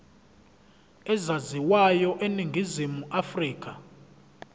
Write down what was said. ezaziwayo eningizimu afrika